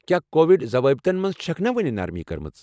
کیٚا کووِڈ ضوٲبطن منز چھكھ نا وُنہِ نرمی كٕرمٕژ ؟